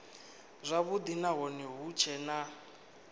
zwavhudi nahone hu tshee na